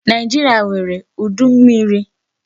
Nigeria nwèrè udu mmmiri.